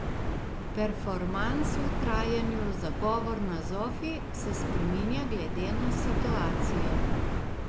Performans v trajanju Zagovor na zofi se spreminja glede na situacijo.